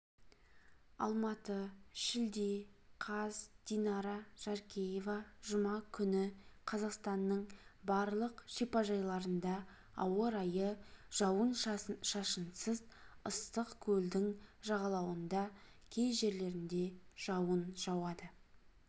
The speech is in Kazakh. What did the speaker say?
алматы шілде қаз динара жаркеева жұма күні қазақстанның барлық шипажайларында ауа райы жауын-шашынсыз ыстық көлдің жағалауында кей жерлерінде жауын жауады